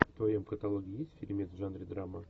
в твоем каталоге есть фильмец в жанре драма